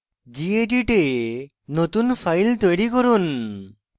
gedit a নতুন file তৈরি করুন